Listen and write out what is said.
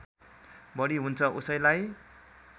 बढी हुन्छ उसैलाई